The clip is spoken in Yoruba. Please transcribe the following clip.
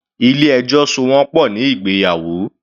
Ilé ẹjọ́ so wọ́n pọ̀ ní ìgbéyàwó.